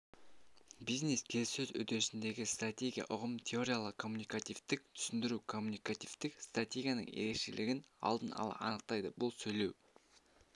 бизнес-келіссөз үдерістеріндегі стратегия ұғымын теориялық коммуникативтік түсіндіру коммуникативтік стратегияның ерекшелігін алдын ала анықтайды бұл сөйлеу